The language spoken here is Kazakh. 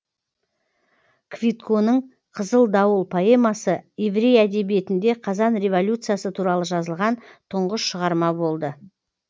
квитконың қызыл дауыл поэмасы еврей әдебиетінде қазан революциясы туралы жазылған тұңғыш шығарма болды